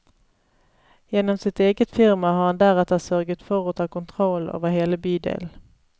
Gjennom sitt eget firma har han deretter sørget for å ta kontrollen over hele bydelen.